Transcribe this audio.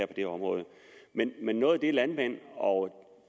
det område men noget af det som landmænd og